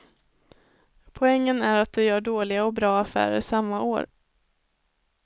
Poängen är att du gör dåliga och bra affärer samma år.